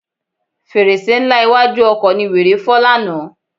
Fèrèsé ńlá iwájú ọkọ̀ ni wèrè fọ́ lánàá.